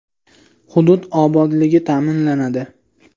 Hudud obodligi ta’minlanadi.